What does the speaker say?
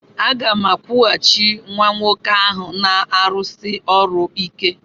Aga m akwụghachi nwa nwoke ahụ na-arụsi ọrụ ike.